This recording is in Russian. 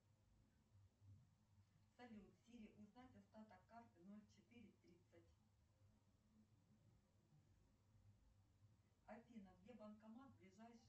джой с чего вдруг на моей карте отрицательный баланс салют какие возрастные ограничения у фильма пятьдесят оттенков серого